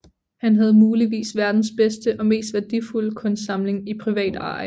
Han havde muligvis verdens bedste og mest værdifulde kunstsamling i privat eje